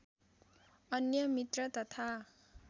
अन्य मित्र तथा